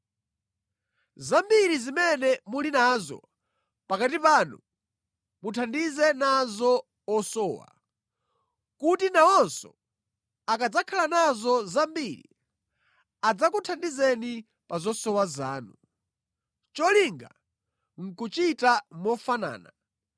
Zambiri zimene muli nazo pakati panu muthandize nazo osowa, kuti nawonso akadzakhala nazo zambiri adzakuthandizeni pa zosowa zanu. Cholinga nʼkuchita mofanana,